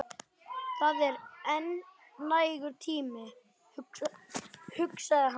Það er enn nægur tími, hugsaði hann.